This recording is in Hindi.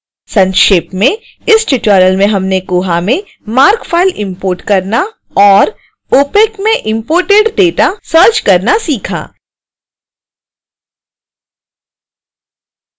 संक्षेप में